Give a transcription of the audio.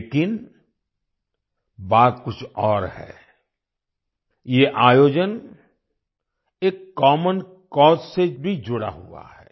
लेकिन बात कुछ और है ये आयोजन एक कॉमन काउज से भी जुड़ा हुआ है